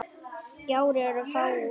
Gjár eru fáar.